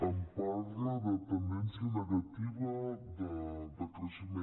em parla de tendència negativa de creixement